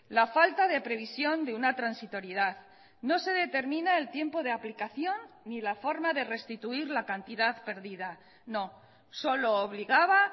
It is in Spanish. la falta de previsión de una transitoriedad no se determina el tiempo de aplicación ni la forma de restituir la cantidad perdida no solo obligaba